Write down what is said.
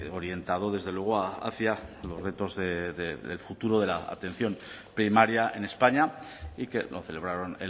orientado desde luego hacia los retos de futuro de la atención primaria en españa y que lo celebraron